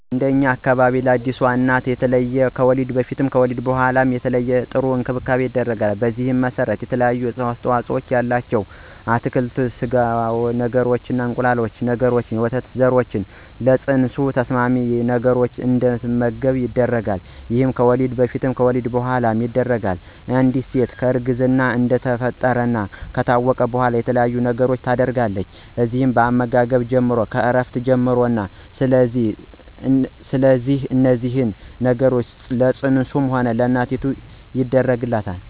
እንደኛ አካባቢ ለአዲስ እናቶች የተለየ ከወሊድ በፊትም ይሁን ከወሊድ በኋላ የተለየና ጥሩ እንክብካቤ ይደረጋል። በዚህም መሰረት የተለያዩ አስተዋፅኦ ያላቸው አትክልቶችን፣ ስጋ ነገሮችን፣ እንቁላል ነገሮችንና የወተት ዘሮችን ለፅንሱ ተስማሚ ነገሮች እንድትመገብ ይደረጋል ይሄም ከወሊድ በፊትም በወሊድ በኋላም ይደረጋል፣ አንድ ሴት እርግዝና እንደተፈጠረ ከታወቀ በኋላ የተለያየ ነገሮችን ታደርጋለች እነዚህም ከአመጋገብ ጀምሮ፣ ከእረፍት ጀምሮ ነው ስለዚህ እነዚህን ነገሮች ለፅንሱም ለእናቲቱም ይደረጋል።